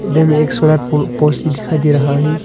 में solar post भी दिखाई दे रहा है।